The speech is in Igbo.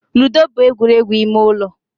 Ludo bụ egwuregwu ime ụlọ